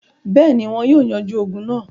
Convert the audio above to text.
Bẹ́ẹ̀ni, wọn yóò yanjú ogun náà.